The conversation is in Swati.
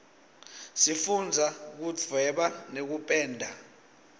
sifundza kudvweba nekupenda